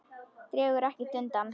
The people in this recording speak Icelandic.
Dregur ekkert undan.